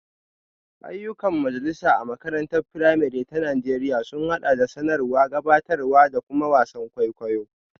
Ayyukan majalisa a makarantar firamare ta Najeriya sun haɗa da sanarwa, gabatarwa, da kuma wasan kwaikwayo.